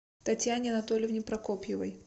татьяне анатольевне прокопьевой